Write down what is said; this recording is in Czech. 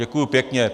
Děkuju pěkně.